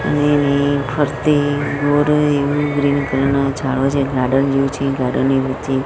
ફરતે ઓર એવો ગ્રીન કલર ના ઝાડો છે ગાર્ડન જેવું છે ગાર્ડન ની વચ્ચે--